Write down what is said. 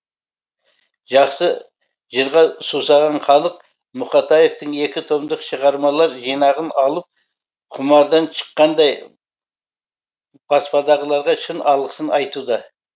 жақсы жырға сусаған халық мұқатаевтың екі томдық шығармалар жинағын алып құмардан шыққандай баспадағыларға шын алғысын айтуда